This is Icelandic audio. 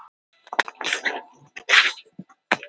Það borgar sig því fyrir þig að fara sparlega með þau.